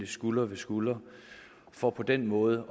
skulder ved skulder for på den måde